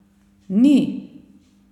Ni!